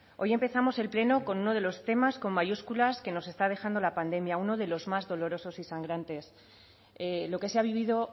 hoy empezamos el pleno con uno de los temas con mayúsculas que nos está dejando la pandemia uno de los más dolorosos y sangrantes lo que se ha vivido